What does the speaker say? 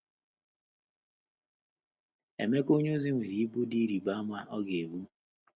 Emeka onyeozi nwere ibu dị ịrịba ama ọ ga-ebu.